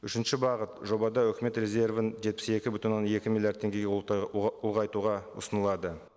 үшінші бағыт жобада үкімет резервін жетпіс екі бүтін оннан екі миллиард теңгеге ұлғайтуға ұсынылады